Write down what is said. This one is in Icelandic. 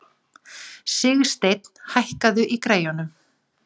Sigsteinn, hækkaðu í græjunum.